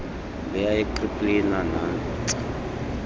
leya yekrimplina nantsi